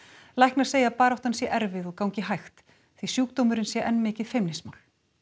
læknar segja að baráttan sé erfið og gangi hægt því sjúkdómurinn sé enn mikið feimnismál